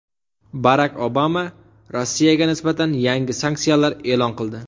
Barak Obama Rossiyaga nisbatan yangi sanksiyalar e’lon qildi.